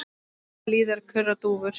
Blíðar kurra dúfur.